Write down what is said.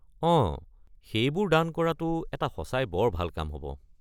অঁ, সেইবোৰ দান কৰাটো এটা সঁচাই বৰ ভাল কাম হ’ব।